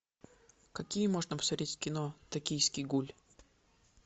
какие можно посмотреть кино токийский гуль